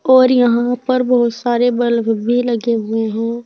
और यहां पर बहुत सारे बल्ब भी लगे हुए हैं।